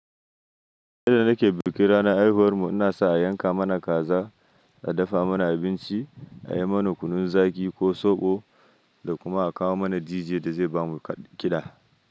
Yanda nake bikin ranar haihuwar mu, ina so a yanka mana kaza, a dafa mana abinci, a yi mana kunun zaƙi ko soɓo da kuma a kawo mana dj da zai bamu kiɗa.